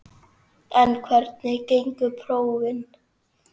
En hvernig gengu prófin?